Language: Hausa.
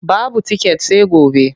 Babu tiket sai gobe.